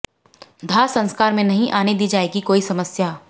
दाह संस्कार में नहीं आने दी जाएगी कोई समस्या